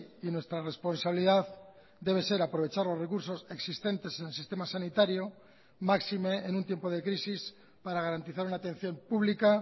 y nuestra responsabilidad debe ser aprovechar los recursos existentes en el sistema sanitario máxime en un tiempo de crisis para garantizar una atención pública